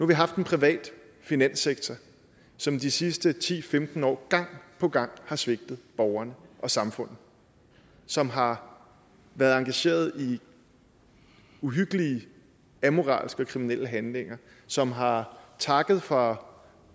vi haft en privat finanssektor som de sidste ti til femten år gang på gang har svigtet borgerne og samfundet som har været engageret i uhyggelige amoralske og kriminelle handlinger som har takket for